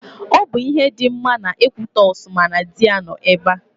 Ọ bụ ihe dị mma na Ekwitọsị ma na dị ya nọ ebe.